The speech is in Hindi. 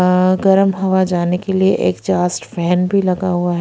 अ गर्म हवा जाने के लिए एगजास्ट फैन पे लगा हुआ है।